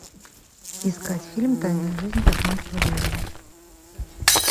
искать фильм тайная жизнь тасманского дьявола